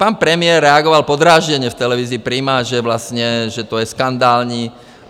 Pan premiér reagoval podrážděně v televizi Prima, že vlastně, že to je skandální.